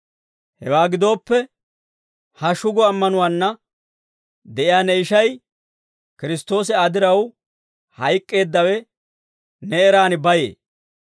Hewaa gidooppe ha shugo ammanuwaanna de'iyaa ne ishay, Kiristtoosi Aa diraw hayk'k'eeddawe, ne eraan bayee.